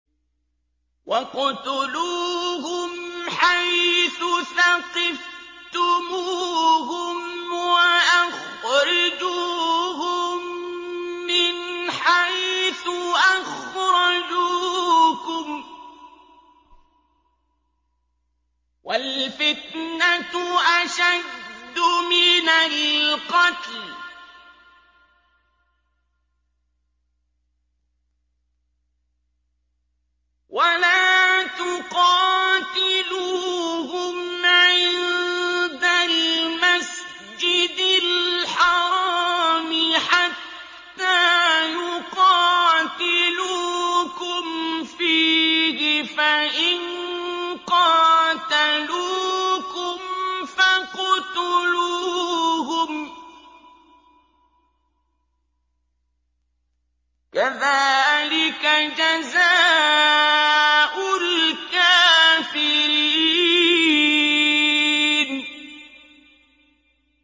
وَاقْتُلُوهُمْ حَيْثُ ثَقِفْتُمُوهُمْ وَأَخْرِجُوهُم مِّنْ حَيْثُ أَخْرَجُوكُمْ ۚ وَالْفِتْنَةُ أَشَدُّ مِنَ الْقَتْلِ ۚ وَلَا تُقَاتِلُوهُمْ عِندَ الْمَسْجِدِ الْحَرَامِ حَتَّىٰ يُقَاتِلُوكُمْ فِيهِ ۖ فَإِن قَاتَلُوكُمْ فَاقْتُلُوهُمْ ۗ كَذَٰلِكَ جَزَاءُ الْكَافِرِينَ